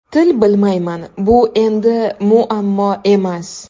Til bilmayman Bu endi muammo emas.